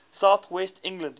south west england